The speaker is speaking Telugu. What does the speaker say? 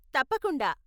తప్పకుండా.